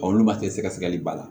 olu ma se sɛgɛsɛgɛli ba la